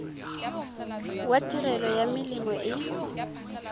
wa tirelo ya melemo e